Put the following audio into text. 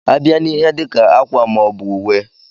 A bịa n'ihe dika ákwà maọbu ùwé.